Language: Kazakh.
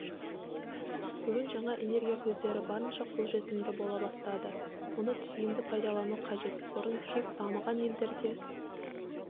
бүгін жаңа энергия көздері барынша қолжетімді бола бастады мұны тиімді пайдалану қажет бұрын тек дамыған елдерде